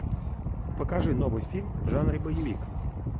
покажи новый фильм в жанре боевик